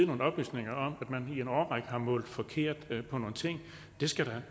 nogle oplysninger om at man i en årrække har målt forkert på nogle ting det skal